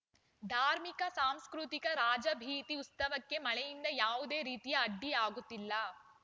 ಧಾರ್ಮಿಕ ಸಾಂಸ್ಕೃತಿಕ ರಾಜಬೀದಿ ಉತ್ಸವಕ್ಕೆ ಮಳೆಯಿಂದ ಯಾವುದೇ ರೀತಿಯ ಅಡ್ಡಿಯಾಗುತ್ತಿಲ್ಲ